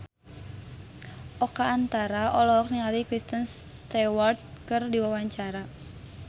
Oka Antara olohok ningali Kristen Stewart keur diwawancara